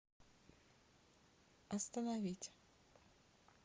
остановить